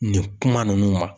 Nin kuma ninnu ma.